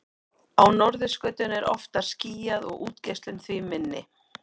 á norðurskautinu er oftar skýjað og útgeislun því minni